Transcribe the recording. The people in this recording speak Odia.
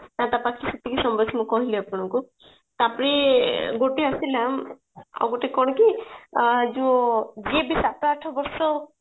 ତପାଖେ ସେତିକି ସମ୍ବଳ ମୁଁ କହିଲି ଆପଣଙ୍କୁ ତାପରେ ଗୋଟେ ଆସିଲା ଆଉ ଗୋଟେ କଣ କି ଆଁ ଯୋଉ ଯିଏ ବି ସାତ ଆଠ ବର୍ଷ